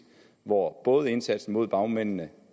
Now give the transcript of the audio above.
hvor både indsatsen mod bagmændene